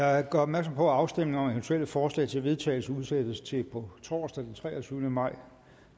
jeg gør opmærksom på at afstemning om eventuelle forslag til vedtagelse udsættes til på torsdag den treogtyvende maj